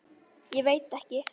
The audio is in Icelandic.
Ég veit ekki.